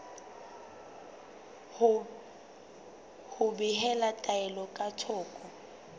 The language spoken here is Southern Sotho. ho behela taelo ka thoko